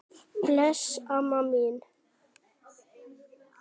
Bless, amma mín.